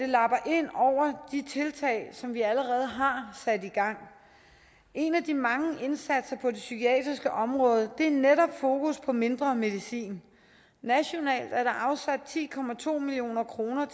lapper ind over de tiltag som vi allerede har sat i gang en af de mange indsatser på det psykiatriske område er netop fokus på mindre medicin nationalt er der afsat ti million kroner